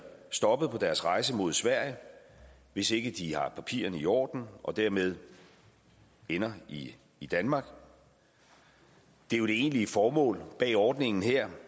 stoppet på deres rejse mod sverige hvis ikke de har papirerne i orden og dermed ender i i danmark det egentlige formål bag ordningen her